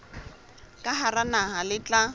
ka hara naha le tla